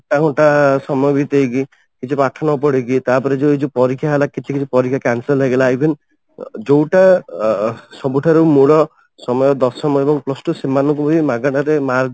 ଘଣ୍ଟା ଘଣ୍ଟା ସମୟ ବିତେଇକି କିଛି ପାଠ ନ ପଢିକି ତାପରେ ଏଇ ଯୋଉ ପରୀକ୍ଷା ହେଲା କିଛି କିଛି ପରୀକ୍ଷା cancel ହେଇଗଲା even ଯୋଉ ଟା ଅ ସବୁଠାରୁ ମୂଳ ସମୟ ଦଶମ ଏବଂ plus two ସେମାନ ଙ୍କୁ ବି ମାଗେଣାରେ ମାର୍କ